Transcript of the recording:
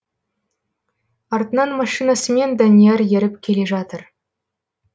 артынан машинасымен данияр еріп келе жатыр